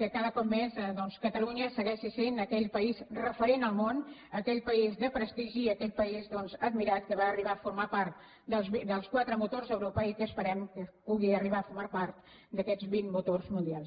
que cada cop més doncs catalunya segueixi sent aquell país referent al món aquell país de prestigi i aquell país doncs admirat que va arribar a formar part dels quatre motors d’europa i que esperem que pugui arribar a formar part d’aquests vint motors mundials